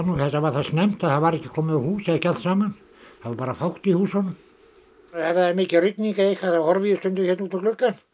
var það snemmt að það var ekki komið á hús eða ekki allt saman það var bara fátt í húsunum ef það er mikil rigning þá horfi ég stundum hérna út um gluggann